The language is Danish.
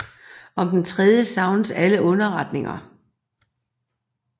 Om den tredje savnes alle underrettelser